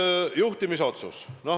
Nüüd juhtimisotsustest.